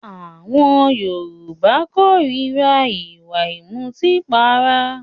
Àwọn Yorùbá kórira ìwà ìmutípara